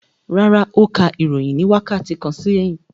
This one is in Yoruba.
Rárá, ó ka ìròyìn ní wákàtí kan sẹ́yìn.